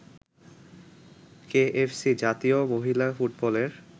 KFC জাতীয় মহিলা ফুটবলের